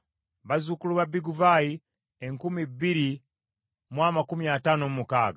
bazzukulu ba Biguvaayi enkumi bbiri mu amakumi ataano mu mukaaga (2,056),